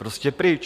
Prostě pryč.